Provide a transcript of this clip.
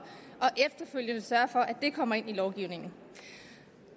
og efterfølgende sørge for kommer ind i lovgivningen